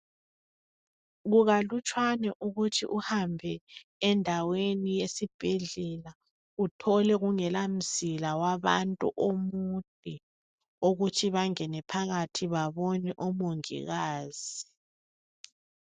Kukalutshwane ukuthi uhambe endaweni esibhedlela uthole kungela mzila wabantu omude okuthi bangene phakathi babone omongikazi.